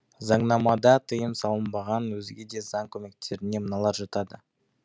заңнамада тыйым салынбаған өзге де заң көмектеріне мыналар жатады